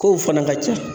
Kow fana ka ca